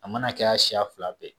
A mana kɛya siya fila bɛɛ.